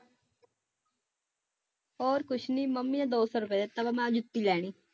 ਹੋਰ ਕੁਛ ਨੀ ਮੰਮੀ ਨੇ ਦੋ ਸੌ ਰੁਪਇਆ ਦਿੱਤਾ ਮੈਂ ਜੁੱਤੀ ਲੈਣੀ।